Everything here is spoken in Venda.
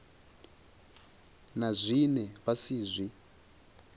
na zwine vha si zwi